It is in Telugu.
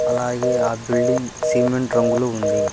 అలాగే ఆ బిల్డింగ్ సిమెంట్ రంగులో ఉంది.